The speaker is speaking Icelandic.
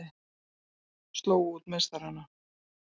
Slógu út meistarana